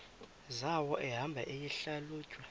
zawo ehamba eyihlalutya